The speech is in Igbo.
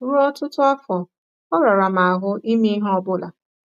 Ruo ọtụtụ afọ, ọ rara m ahụ ime ihe ọ bụla.